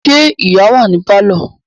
Ṣé ìyá wà ní pálọ̀?